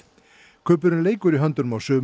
kubburinn leikur í höndunum á sumum